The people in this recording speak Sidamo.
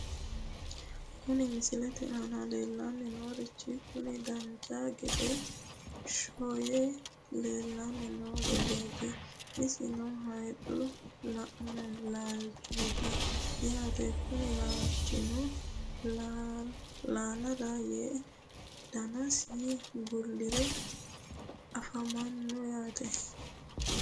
Kuni misilete aana leellanni noorichi kuni dancha gede shoye leellanni noo gideeti, isino hayiixu laalchooti yaate, kuni laalchino laalara yee danasi bullire afamanno yaate.